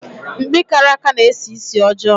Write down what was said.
Mkpi karaka na-esi ísì ọjọọ.